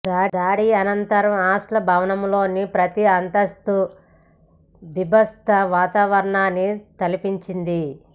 దాడి అనంతరం హాస్టల్ భవనంలోని ప్రతి అంతస్తు బీభత్స వాతావరణాన్ని తలపించింది